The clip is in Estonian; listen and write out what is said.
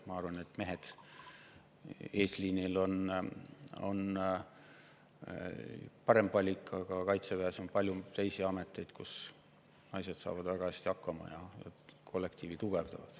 Ma arvan, et mehed eesliinil on parem valik, aga Kaitseväes on palju muid ameteid, kus naised saavad väga hästi hakkama ja kollektiivi tugevdavad.